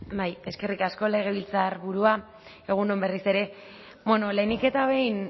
eskerrik asko legebiltzarburua egun on berriz ere lehenik eta behin